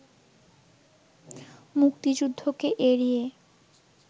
মুক্তিযুদ্ধকে এড়িয়ে